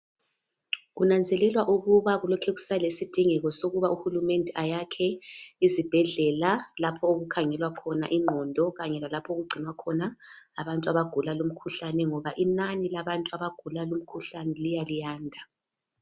Kunanzelelwa ukuba kulokhe kusalesidingeko sokuba uhulumende ayakhe izibhedlela lapho okukhangelwa khona ingqondo kanye lalapho okugcinwa khona abantu abagula lumkhuhlane ngoba inani labantu abagula lumkhuhlane liya liyanda.